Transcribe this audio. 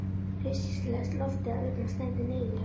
Hryssingslegt loftið að utan streymdi niður í hann.